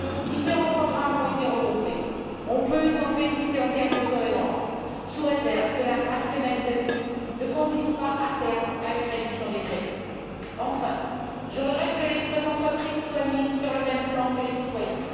Différents programmes ont été regroupés. Nous pouvons nous en féliciter en termes de cohérence, sous réserve que la rationalisation ne conduise pas, à terme, à une réduction des crédits. Enfin, je regrette que les entreprises soient mises sur le même plan que les citoyens.